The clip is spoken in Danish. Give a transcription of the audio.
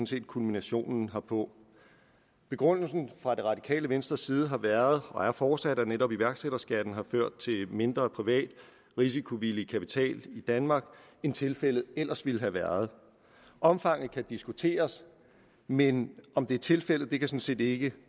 set kulminationen herpå begrundelsen fra det radikale venstres side har været og er fortsat at netop iværksætterskatten har ført til mindre privat risikovillig kapital i danmark end tilfældet ellers ville have været omfanget kan diskuteres men om det er tilfældet kan sådan set ikke